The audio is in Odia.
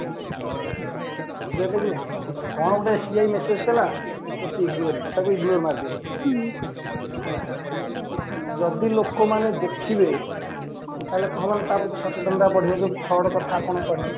ଯିଏ ଦେଖିଲେ କଣ ଗୋଟେ SBI message କଲା just ignore it ତାକୁ ignore ମାରିଦିଅ ତାକୁ ଦେଖୁ ନାହାନ୍ତି ଯଦି ଲୋକ ମାନେ ଦେଖିବେ ତା ହେଲେ କଣ ତା ପ୍ରତି ସଚେତନତା ବଢିବା ଯୋ fraud କଥା ଆପଣ କହିଲେ